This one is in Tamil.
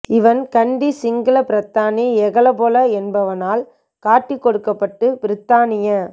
இவன் கண்டி சிங்கள பிரதானி எகெலபொல என்பவனால் காட்டிக் கொடுக்கப்பட்டு பிரித்தானிய